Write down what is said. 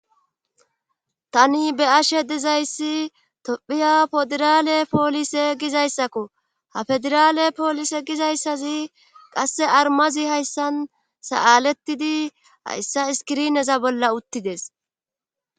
tani be ashe dizayssi tophiya poderale poolise gizayssakko ha federaale poolise gizayssazi qasse armazi hayssan sa7alettidi hayssa iskirineza bolla uttides